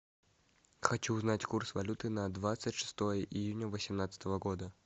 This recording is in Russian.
хочу узнать курс валюты на двадцать шестое июня восемнадцатого года